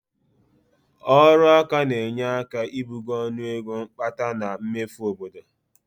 Ọrụaka na-enye aka ibugo ọnụego mkpata na mmefu obodo